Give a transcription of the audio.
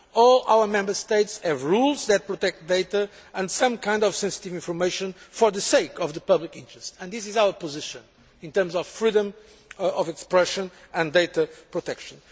All our Member States have rules that protect data and some kinds of sensitive information for the sake of the public, and this is our position in terms of freedom of expression and data protection.